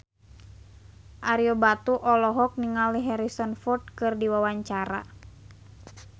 Ario Batu olohok ningali Harrison Ford keur diwawancara